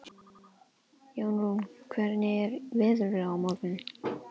Jórunn, hvernig er veðrið á morgun?